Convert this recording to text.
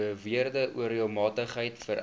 beweerde onreëlmatigheid vereis